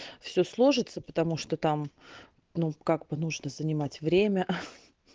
все сложится потому что там ну как бы нужно занимать время